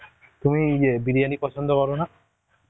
তুমি ইয়ে বিরিয়ানি পছন্দ করো না?